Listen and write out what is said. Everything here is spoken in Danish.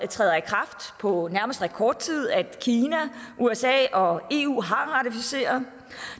træder i kraft på nærmest rekordtid og at kina usa og eu har ratificeret